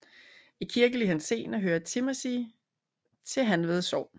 I kirkelig henseende hører Timmersig til Hanved Sogn